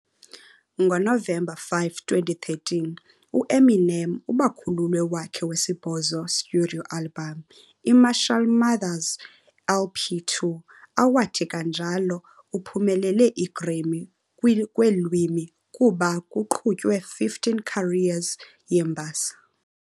Ngonovemba 5, 2013, Eminem bakhululwe wakhe wesibhozo Studio album, i-Marshall Mathers LP 2, awathi kanjalo uphumelele a Grammy kweelwimi, kuba kuqhutywe 15 career mbasa.